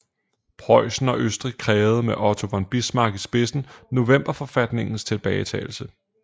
Preussen og Østrig krævede med Otto von Bismarck i spidsen novemberforfatningens tilbagetagelse